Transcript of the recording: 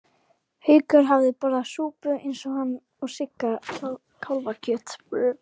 Haukur hafði borðað súpu eins og hann og Sigga kálfakjöt.